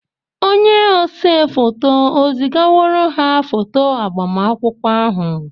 Onye ose foto ezigaworo ha foto agbamakwụkwọ ahụ?